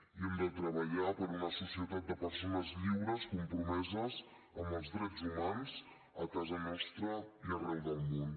i hem de treballar per una societat de persones lliures compromeses amb els drets humans a casa nostra i arreu del món